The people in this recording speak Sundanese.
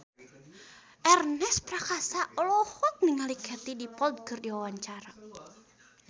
Ernest Prakasa olohok ningali Katie Dippold keur diwawancara